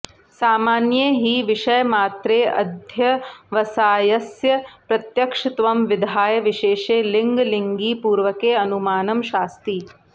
सामान्ये हि विषयमात्रेऽध्यवसायस्य प्रत्यक्षत्वं विधाय विशेषे लिङ्गलिङ्गिपूर्वकेऽनुमानं शास्ति